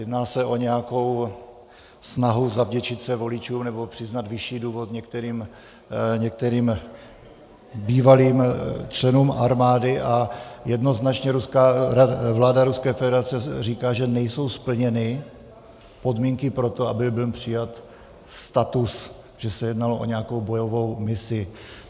Jedná se o nějakou snahu zavděčit se voličům nebo přiznat vyšší důchod některým bývalým členům armády a jednoznačně vláda Ruské federace říká, že nejsou splněny podmínky pro to, aby byl přijat status, že se jednalo o nějakou bojovou misi.